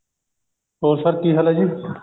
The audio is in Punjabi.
ਹੋਰ sir ਕਿ ਹਾਲ ਹੈ ਜੀ